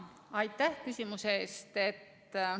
Aitäh küsimuse eest!